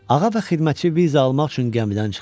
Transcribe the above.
Ağa və xidmətçi viza almaq üçün gəmidən çıxdılar.